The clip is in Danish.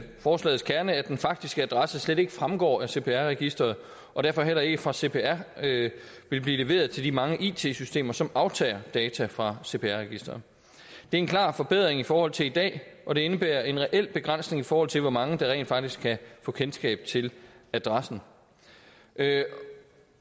forslagets kerne at den faktiske adresse slet ikke fremgår af cpr registeret og derfor heller ikke fra cpr vil blive leveret til de mange it systemer som aftager data fra cpr registeret det er en klar forbedring i forhold til i dag og det indebærer en reel begrænsning i forhold til hvor mange der rent faktisk kan få kendskab til adressen